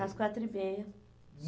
Às quatro e meia.